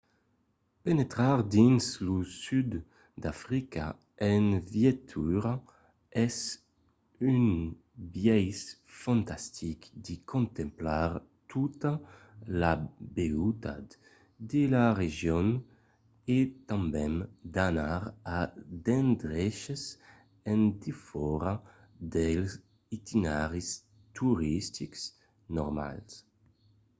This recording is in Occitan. penetrar dins lo sud d'africa en veitura es un biais fantastic de contemplar tota la beutat de la region e tanben d'anar a d'endreches en defòra dels itineraris toristics normals